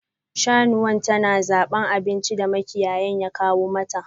Shanuwan ta na zaban abinci da makiyayin ya kawo mata.